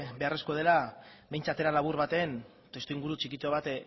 beharrezkoa dela behintzat era labur baten testuinguru txikitxo bat